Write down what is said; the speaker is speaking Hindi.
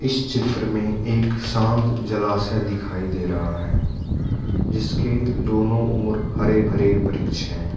इस चित्र में एक शांत जलाशय दिखाई दे रहा है जिसके दोनों ओर हरे भरे वृक्ष हैं।